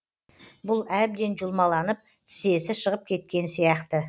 бұл әбден жұлмаланып тізесі шығып кеткен сияқты